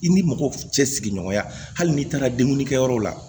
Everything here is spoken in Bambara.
I ni mɔgɔ cɛ sigiɲɔgɔnya hali n'i taara dumuni kɛ yɔrɔ la